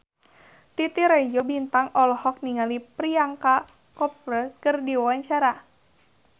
Titi Rajo Bintang olohok ningali Priyanka Chopra keur diwawancara